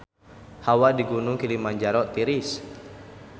Hawa di Gunung Kilimanjaro tiris